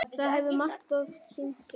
Það hefur margoft sýnt sig.